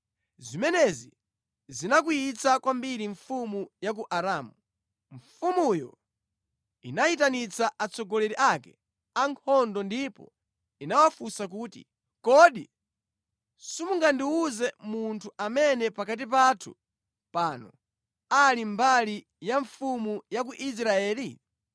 Zimenezi zinakwiyitsa kwambiri mfumu ya ku Aramu. Mfumuyo inayitanitsa atsogoleri ake ankhondo ndipo inawafunsa kuti, “Kodi simungandiwuze munthu amene pakati pathu pano ali mbali ya mfumu ya ku Israeli?”